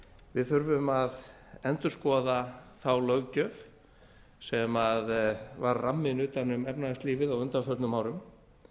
við þurfum að endurskoða þá löggjöf sem var ramminn utan um efnahagslífið á undanförnum árum